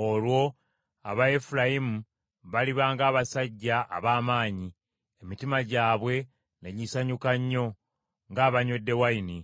Olwo aba Efulayimu baliba ng’abasajja ab’amaanyi, emitima gyabwe ne gisanyuka nnyo ng’abanywedde wayini.